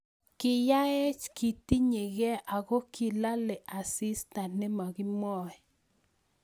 Kiyaech ketiny gei ago kilalee asistaa nemakimwae